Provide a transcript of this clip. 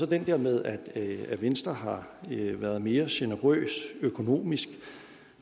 den der med at at venstre har været mere generøs økonomisk